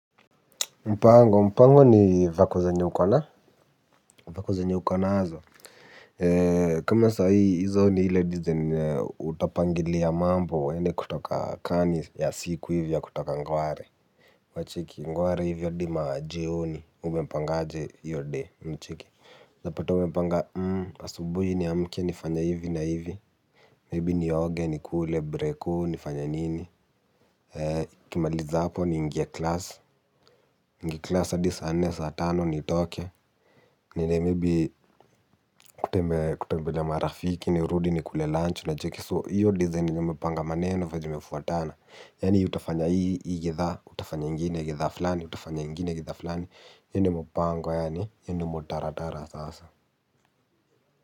Mpango, mpango ni vako zenye uko na, vako zenye uko nazo. Eee, kama sa hii, hizo ni hile design utapangilia mambo uende kutoka kaa ni ya siku hivi ya kutoka ngware. Unacheki, ngware hivyo hadi majioni, umepangaje hiyo day, unacheki, unaeza pata umepanga, hmm, asubuhi niamke nifanye hivi na hivi, maybe nioge, nikule breko, nifanye nini nikimaliza hapo niingie class, niingie class hadi saa nne saa tano nitoke, niende maybe kutembelea marafiki nirudi nikule lunch unacheki. So hiyo design yenye mmepanga maneno venye zimefuatana. Yaani utafanya hii hii githaa, utafanya ingine githaa fulani, utafanya ingine githaa fulani, hiyo ndio mpango yaani, hiyo ndio mutaratara sasa.